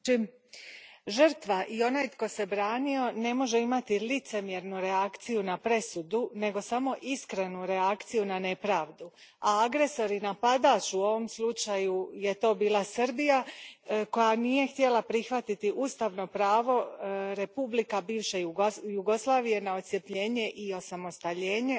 Gospodine predsjedniče, žrtva i onaj tko se branio ne mogu imati licemjernu reakciju na presudu, nego samo iskrenu reakciju na nepravdu. A agresor i napadač u ovom slučaju je bila Srbija, koja nije htjela prihvatiti ustavno pravo republika bivše Jugoslavije na odcjepljenje i osamostaljenje.